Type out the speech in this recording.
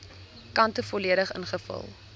kante volledig ingevul